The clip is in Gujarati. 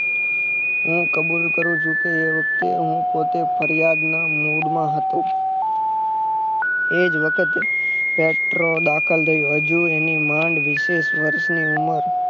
હું કબુલ કરું છું કે એ વખતે હું પોતે ફરિયાદ ના મૂડ માં હતો એજ વખતે પેટ્રો દાખલ થયો હજુ એની માંડ વીશેક વર્ષ ની ઉમર